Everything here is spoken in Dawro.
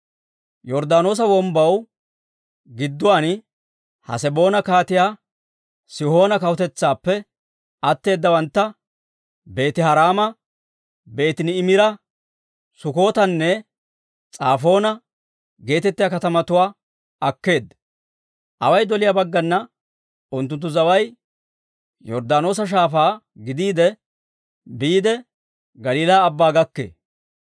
Yorddaanoosa Wombbaw gidduwaan Haseboona Kaatiyaa Sihoona kawutetsaappe atteeddawantta, Beeti-Haraama, Beeti-Niimira, Sukkotanne S'afoona geetettiyaa katamatuwaa akkeedda. Away doliyaa baggana unttunttu zaway Yorddaanoosa shaafaa gidiide biide, Galiilaa Abbaa gakkee.